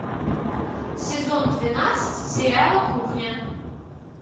сезон двенадцать сериала кухня